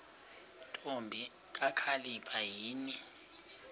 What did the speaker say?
ntombi kakhalipha yini